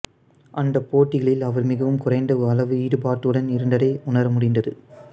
அந்தப் போட்டிகளில் அவர் மிகவும் குறைந்த அளவு ஈடுபாட்டுடன் இருந்ததை உணர முடிந்தது